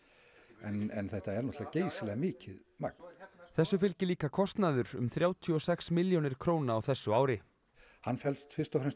en þetta er náttúrulega geysilega mikið magn þessu fylgir líka kostnaður um þrjátíu og sex milljónir króna á þessu ári hann felst fyrst og fremst í